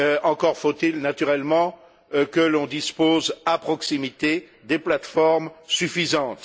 Encore faut il, naturellement, que l'on dispose à proximité des plateformes suffisantes.